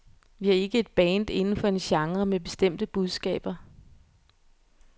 Vi er ikke et band inden for en genre med bestemte budskaber.